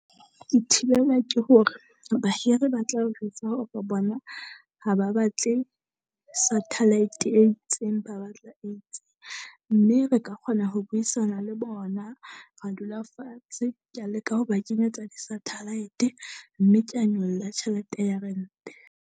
Ke thibelwa ke hore bahiri ba tla o jwetsa hore bona ha ba batle satellite e itseng, ba batla e tse. Mme re ka kgona ho buisana le bona, ra dula fatshe. Kea leka ho ba kenyetsa di-satellite mme kea nyolla tjhelete ya rente.